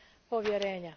povjerenja.